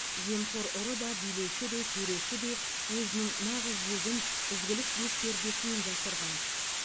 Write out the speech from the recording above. жемқор ұры да билеуші де төреші де өзінің нағыз жүзін ізгілік бетпердесімен жасырған